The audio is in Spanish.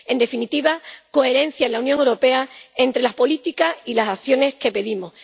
En definitiva, coherencia en la Unión Europea entre las políticas y las acciones que pedimos.